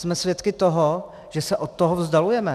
Jsme svědky toho, že se od toho vzdalujeme.